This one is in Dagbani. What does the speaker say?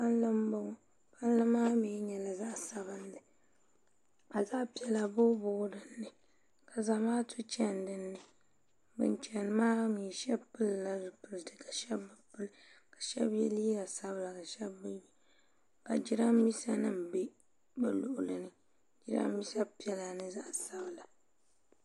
Palli m-bɔŋɔ palli maa mi nyɛla zaɣ' sabinli ka zaɣ' piɛla booibooi din ni ka zamaatu chani din ni ban chani maa mi shɛba pilila zipilisi ka shɛba bi pili ka shɛba ye liiga sabila ka shɛba bi ye ka jirambiisanima be bɛ luɣili ni jirambiisanima piɛla ni zaɣ' sabila